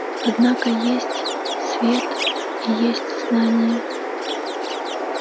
однако есть свет и есть знание